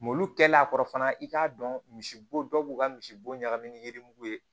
Molu kɛlen a kɔrɔ fana i k'a dɔn misibo dɔw b'u ka misibo ɲagamin ni yiri ye